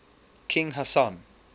king hassan